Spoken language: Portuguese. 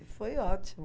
E foi ótimo.